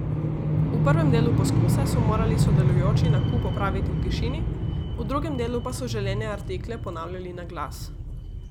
V prvem delu poskusa so morali sodelujoči nakup opraviti v tišini, v drugem delu pa so želene artikle ponavljali na glas.